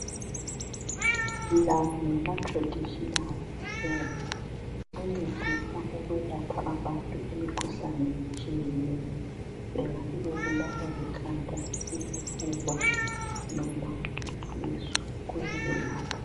lawa ngama traditional hebs ancedisa ancedisa ukwelapha abantu imkhuhlane ehlukeneyo engabe bebulawa likhanda isifuba loba isisu kuyawelapha